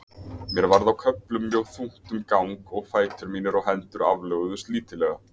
Mér varð á köflum mjög þungt um gang og fætur mínir og hendur aflöguðust lítillega.